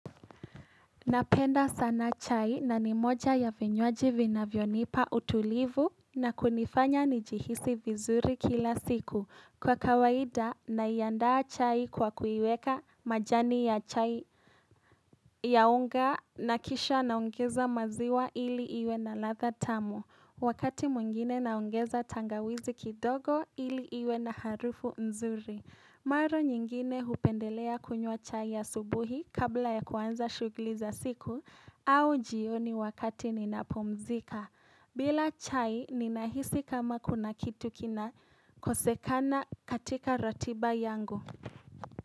Napenda sana chai na ni moja ya vinywaji vinavyonipa utulivu na kunifanya nijihisi vizuri kila siku. Kwa kawaida naiandaa chai kwa kuiweka majani ya chai ya unga na kisha naongeza maziwa ili iwe na ladha tamu. Wakati mwingine naongeza tangawizi kidogo ili iwe na harufu nzuri. Maro nyingine hupendelea kunywa chai ya asubuhi kabla ya kuanza shughli za siku au jioni wakati ninapumzika. Bila chai ninahisi kama kuna kitu kinakosekana katika ratiba yangu.